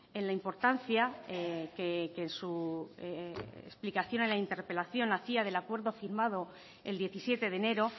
en la importancia que en su explicación a la interpelación hacía en el acuerdo firmado el diecisiete de enero